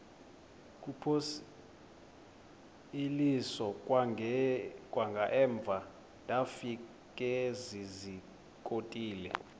kuphosiliso kwangaemva ndafikezizikotile